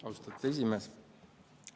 Austatud esimees!